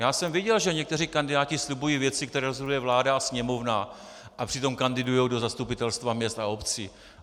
Já jsem viděl, že někteří kandidáti slibují věci, které rozhoduje vláda a Sněmovna, a přitom kandidují do zastupitelstva měst a obcí.